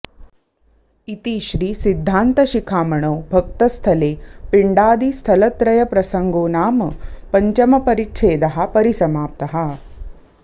इति श्री सिद्धान्त शिखामणौ भक्तस्थले पिण्डादिस्थलत्रय प्रसङ्गोनाम पञ्चम परिच्छेदः परिसमाप्तः